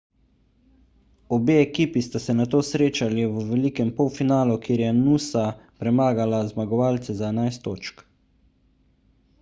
obe ekipi sta se nato srečali v velikem polfinalu kjer je noosa premagala zmagovalce za 11 točk